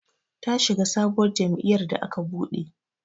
Ta shiga sabuwar jam'iyar da aka buɗe